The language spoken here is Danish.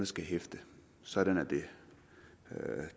skal hæfte sådan er det